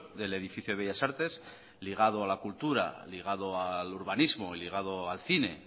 del edificio de bellas artes ligado a la cultura ligado al urbanismo y ligado al cine